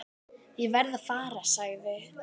Ég verð að fara, sagði